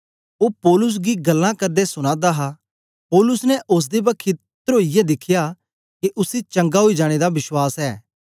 ओ पौलुस गी गल्लां करदे सुना दा हा पौलुस ने ओसदे बखी त्रोयै दिखया के उसी चंगा ओई जाने दा विश्वास ऐ